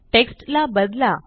text ला बदला